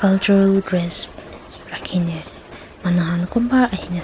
cultural dress rakhine manukhan toh kunba ahine.